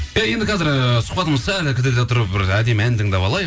иә енді қазір ыыы сұхбатымызды сәл кідірте тұрып бір әдемі ән тыңдап алайық